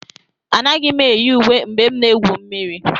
Anaghị m eyi uwe mgbe m na-egwu mmiri